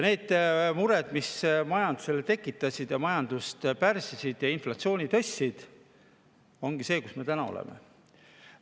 Need mured, mis majanduses tekkisid, majandust pärssisid ja inflatsiooni tõstsid, ongi viinud meid sinna, kus me täna oleme.